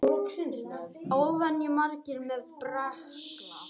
Óvenju margir með berkla